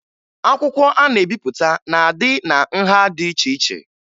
Akwụkwọ a na-ebipụta na-adị na nha dị iche iche